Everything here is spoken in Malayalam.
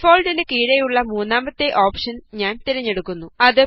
ഡിഫാള്ട്ട് നു കീഴെയുള്ള മൂന്നാമത്തെ ഓപ്ഷന് ഞാന് തിരഞ്ഞെടുക്കുന്നു